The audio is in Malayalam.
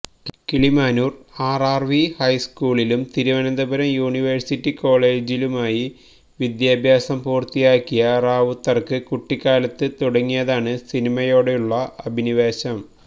കിളിമാനൂര് ആര് ആര് വി ഹൈസ്കൂളിലും തിരുവനന്തപുരം യുണിവേഴ്സിറ്റി കോളെജിലുമായി വിദ്യാഭ്യാസം പൂര്ത്തിയാക്കിയ റാവുത്തര്ക്ക് കുട്ടിക്കാലത്ത് തുടങ്ങിയതാണ് സിനിമയോടുള്ള അഭിനിവേശം